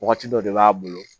Wagati dɔ de b'a bolo